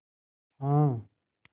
हाँ